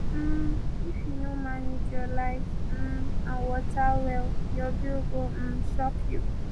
um if you no manage your light um and water well your bill go um shock you